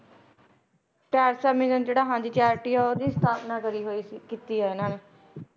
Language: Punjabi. ਟੈਰੇਸਾ mission ਜਿਹੜਾ ਹਾਂਜੀ charity ਆ ਉਹਦੀ ਸਥਾਪਨਾ ਕਰੀ ਹੋਈ ਸੀ ਕੀਤੀ ਹੈ ਇਹਨਾਂ ਨੇ